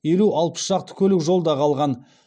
елу алпыс шақты көлік жолда қалған